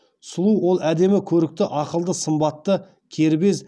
сұлу ол әдемі көрікті ақылды сымбатты кербез